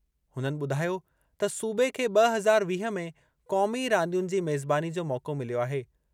हुननि ॿुधायो त सूबे खे ब॒ हज़ार वीह में क़ौमी रांदियुनि जी मेज़बानी जो मौक़ो मिलियो आहे।